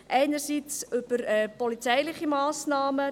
einerseits in polizeiliche Massnahmen: